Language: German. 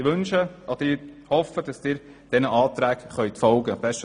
Ich hoffe, dass Sie diesen Anträgen folgen können.